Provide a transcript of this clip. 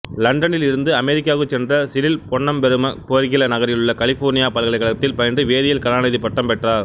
லண்டனில் இருந்து அமெரிக்காவுக்குச் சென்ற சிறில் பொன்னம்பெரும பேர்கிலி நகரிலுள்ள கலிபோர்னியா பல்கலைக்கழகத்தில் பயின்று வேதியியலில் கலாநிதிப் பட்டம் பெற்றார்